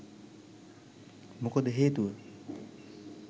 මොකද හේතුව